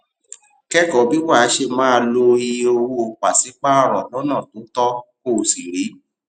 kékòó bí wàá ṣe máa lo iye owó paṣipaarọ lónà tó tó kó o sì rí